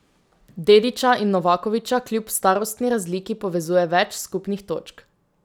Dedića in Novakovića kljub starostni razliki povezuje več skupnih točk.